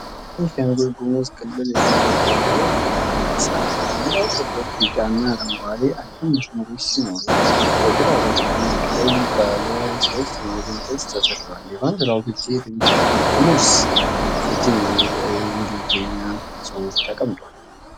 የቤኒሻንጉል ጉሙዝ ክልል የሚውለበለብ ባንዲራ ቅርጽ አለ። ባንዲራው ጥቁር፣ ቢጫና አረንጓዴ አግድም መስመሮች ሲኖሩት፣ በግራ በኩል ቀይ ባለ ሦስት ማዕዘን ቅርጽ ተተክሏል። የባንዲራው ግርጌ "ቤንሻንጉል ጉምዝ ሪጅን" የሚል የእንግሊዝኛ ጽሑፍ ተቀምጧል።